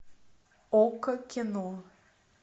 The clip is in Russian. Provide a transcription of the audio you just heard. окко кино